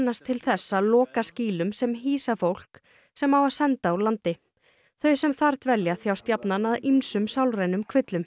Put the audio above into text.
til þess að loka skýlum sem hýsa fólk sem á að senda úr landi þau sem þar dvelja þjást jafnan af ýmsum sálrænum kvillum